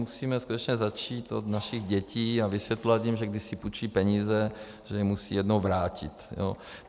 Musíme skutečně začít od našich dětí a vysvětlovat jim, že když si půjčí peníze, že je musí jednou vrátit.